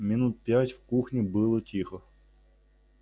минут пять в кухне было тихо